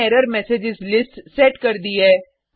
हमने error msgs list set कर दी है